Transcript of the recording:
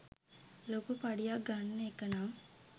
ලොකු පඩියක් ගන්න එක නම්